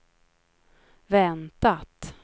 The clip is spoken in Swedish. väntat